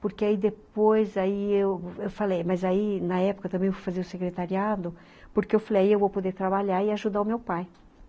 Porque aí depois, aí eu falei, mas aí na época eu também fui fazer o secretariado, porque eu falei, aí eu vou poder trabalhar e ajudar o meu pai.